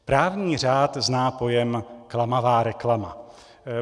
Právní řád zná pojem klamavá reklama.